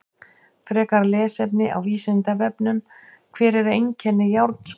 Frekara lesefni á Vísindavefnum: Hver eru einkenni járnskorts?